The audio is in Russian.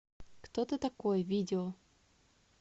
кто ты такой видео